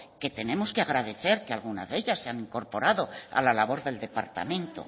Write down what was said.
que tenemos que agradecer que algunas de ellas se han incorporado a la labor del departamento